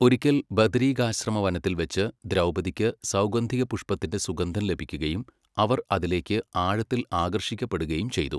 ഒരിക്കൽ ബദരികാശ്രമവനത്തിൽ വച്ച് ദ്രൗപദിക്ക് സൗഗന്ധികപുഷ്പത്തിൻ്റെ സുഗന്ധം ലഭിക്കുകയും അവർ അതിലേക്ക് ആഴത്തിൽ ആകർഷിക്കപ്പെടുകയും ചെയ്തു.